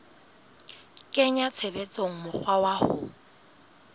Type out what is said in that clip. kenya tshebetsong mokgwa wa ho